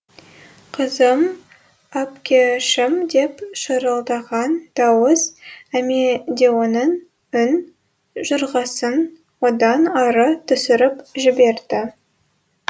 қызым әпкешім деп шырылдаған дауыс амедеоның үн жұрғасын одан ары түсіріп жіберді